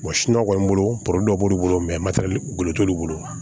kɔni bolo dɔ b'olu bolo golo t'olu bolo